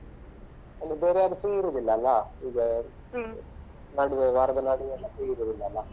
ಬೇರೆ ಯಾರು free ಇರುದಿಲ್ಲ ಅಲ್ಲಾ ನಡುವೆ ವಾರದ ನಡುವೆ ಎಲ್ಲ free ಇರುದಿಲ್ಲ ಅಲ್ಲ.